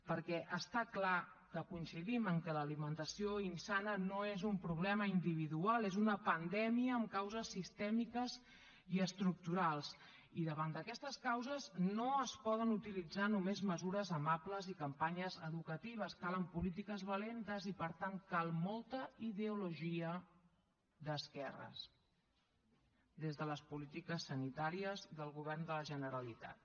perquè està clar que coincidim que l’alimentació insana no és un problema individual és una pandèmia amb causes sistèmiques i estructurals i davant d’aquestes causes no es poden utilitzar només mesures amables i campanyes educatives calen polítiques valentes i per tant cal molta ideologia d’esquerres des de les polítiques sanitàries del govern de la generalitat